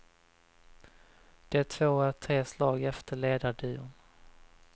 De två är tre slag efter ledarduon.